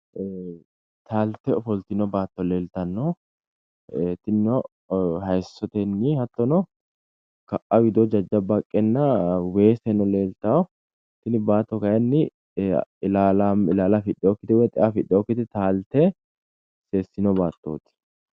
Taalte ofiltino baato leltanno tinino hayiisotenni hattono ka'a widoo jajabba haqqenna weeseno leeltayo. Tini baatto kayinni ilaala afidheyokkite woy xea afidheyokite taalte teesino baattooti.